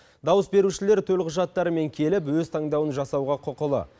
дауыс берушілер төлқұжаттарымен келіп өз таңдауын жасауға құқылы